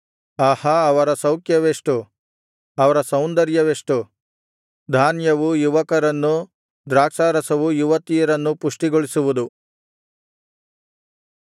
ಆಹಾ ಅವರ ಸೌಖ್ಯವೆಷ್ಟು ಅವರ ಸೌಂದರ್ಯವೆಷ್ಟು ಧಾನ್ಯವು ಯುವಕರನ್ನು ದ್ರಾಕ್ಷಾರಸವು ಯುವತಿಯರನ್ನು ಪುಷ್ಟಿಗೊಳಿಸುವುದು